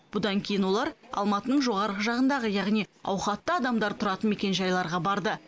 бұдан кейін олар алматының жоғарғы жағындағы яғни ауқатты адамдар тұратын мекенжайларға барды